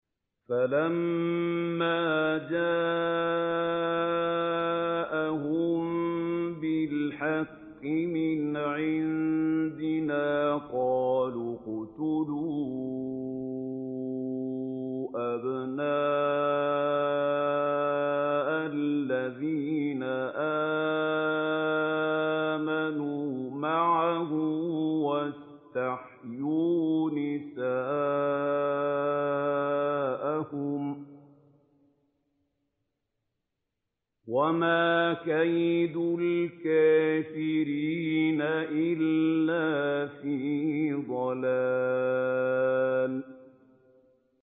فَلَمَّا جَاءَهُم بِالْحَقِّ مِنْ عِندِنَا قَالُوا اقْتُلُوا أَبْنَاءَ الَّذِينَ آمَنُوا مَعَهُ وَاسْتَحْيُوا نِسَاءَهُمْ ۚ وَمَا كَيْدُ الْكَافِرِينَ إِلَّا فِي ضَلَالٍ